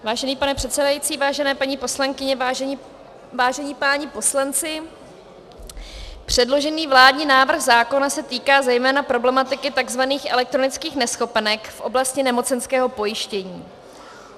Vážený pane předsedající, vážené paní poslankyně, vážení páni poslanci, předložený vládní návrh zákona se týká zejména problematiky tzv. elektronických neschopenek v oblasti nemocenského pojištění.